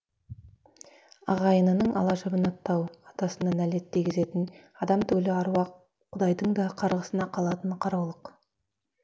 ағайынның ала жібін аттау атасына нәлет дегізетін адам түгілі аруақ құдайдың да қарғысына қалатын қараулық